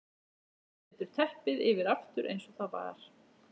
Setur teppið yfir aftur eins og það var.